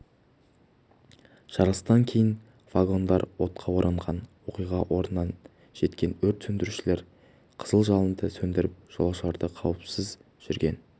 жарылыстан кейін вагондар отқа оранған оқиға орнына жеткен өрт сөндірушілер қызыл жалынды сөндіріп жолаушыларды қауіпсіз жерген